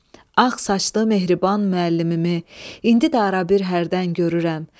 Ağ saçlı, mehriban müəllimimi indi də arabir hərdən görürəm.